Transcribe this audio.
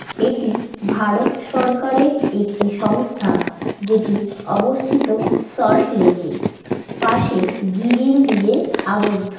এটি ভারত সরকারের একটি সংস্থা যেটি অবস্থিত সল্টলেক -এ। পাশে গিরিল দিয়ে আবদ্ধ।